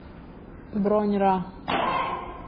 бронь ра